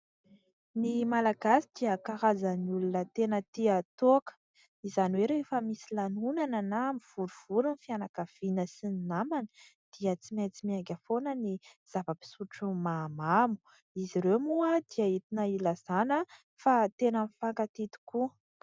Ny Malagasy dia karazan'olona tena tia toaka, izany hoe rehefa misy lanonana, na mivorivory ny fianakaviana sy ny namana, dia tsy maintsy miainga foana ny zava-pisotro mahamamo. Izy ireo moa dia entina ilazana fa tena mifankatia tokoa.